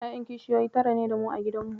Ƴaƴan kishiyoyi tara ne da mu a gidanmu.